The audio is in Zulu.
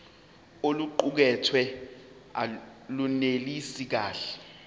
oluqukethwe lunelisi kahle